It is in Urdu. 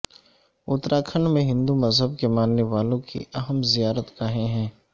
اترا کھنڈ میں ہندو مذہب کے ماننے والوں کی اہم زیارت گاہیں ہیں